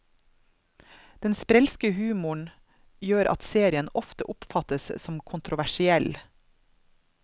Den sprelske humoren gjør at serien ofte oppfattes som kontroversiell.